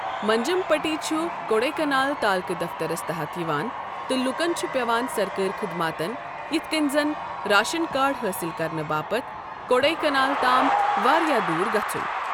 منجم پٹی چھُ کوڈایہ کنال تالڮہٕ دفترَس تحت یِوان، تہٕ لوٗکَن چھُ پٮ۪وان سرکٲری خٔدماتن یِتھ کٔنۍ زن راشن کارڈ حٲصل کرنہٕ باپتھ کوڈایہ کنالَ تام واریٛاہ دوٗر گژھُن۔